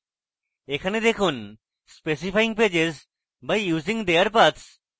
এখানে দেখুন specifying pages by using their paths